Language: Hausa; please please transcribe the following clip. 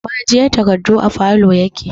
Ma'ajiyar takardu a falow yake